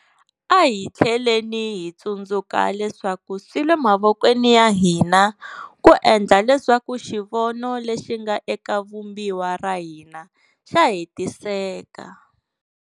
A hi tlheleni hi tsundzuka leswaku swi le mavokweni ya hina ku endla leswaku xivono lexi nga eka Vumbiwa ra hina xa hetiseka.